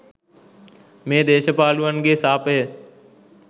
මේ දේශ පාලුවන්ගේ සාපය.